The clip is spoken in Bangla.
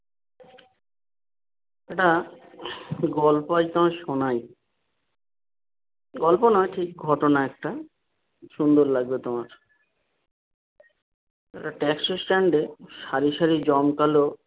একটা গল্প আজ তোমায় শোনাই, গল্প না ঠিক ঘটনা একটা সুন্দর লাগবে তোমার একটা ট্যাক্সি stand এ সারি সারি জমকালো